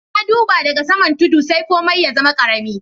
Na dubba da ga saman tudu sai komi ya zama karemi.